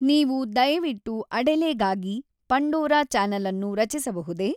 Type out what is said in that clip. ನೀವು ದಯವಿಟ್ಟು ಅಡೆಲೆಗಾಗಿ ಪಂಡೋರಾ ಚಾನಲ್ ಅನ್ನು ರಚಿಸಬಹುದೇ?